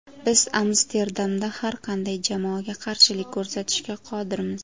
Biz Amsterdamda har qanday jamoaga qarshilik ko‘rsatishga qodirmiz.